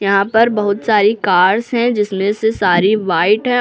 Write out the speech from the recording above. यहाँ पर बहुत सारी कार्स हैं जिसमें से सारी व्हाइट हैं।